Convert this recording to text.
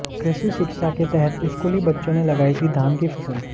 कृषि शिक्षा के तहत स्कूली बच्चों ने लगाई थी धान की फसल